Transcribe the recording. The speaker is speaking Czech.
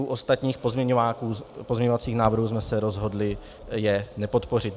U ostatních pozměňovacích návrhů jsme se rozhodli je nepodpořit.